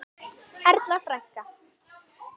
Erla frænka.